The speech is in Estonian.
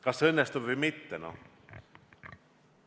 Kas see õnnestub või mitte?